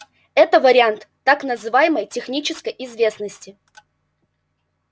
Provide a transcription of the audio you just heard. это вариант так называемой технической известности